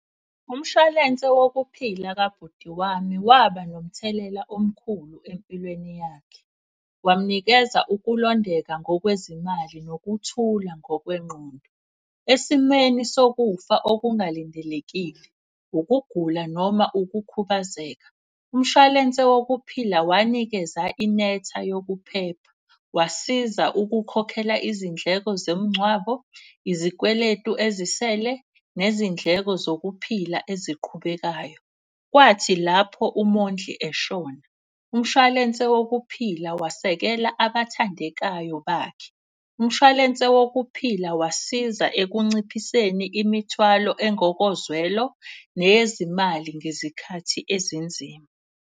Umshwalense wokuphila kabhuti wami waba nomthelela omkhulu empilweni yakhe. Wamnikeza ukulondeka ngokwezimali, nokuthula ngokwengqondo. Esimeni sokufa okungalindelekile, ukugula noma ukukhubazeka umshwalense wokuphila wanikeza inetha yokuphepha. Wasiza ukukhokhela izindleko zomngcwabo, izikweletu ezisele, nezindleko zokuphila eziqhubekayo. Kwathi lapho umondli eshona umshwalense wokuphila, wasekela abathandekayo bakhe. Umshwalense wokuphila wasiza ekunciphiseni imithwalo engokozwelo nezimali ngezikhathi ezinzima.